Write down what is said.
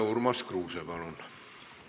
Urmas Kruuse, palun!